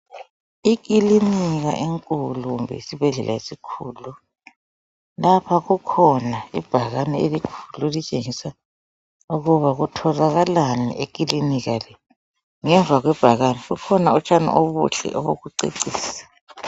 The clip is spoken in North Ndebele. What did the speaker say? Ikilinika enkulu kumbe isibhedlela esikhulu lapha kukhona ibhakane elikhulu elitshengisa ukuba kutholakalani ekilinika le ngemva kwebhakane kukhona utshani obuhle obokucecisa.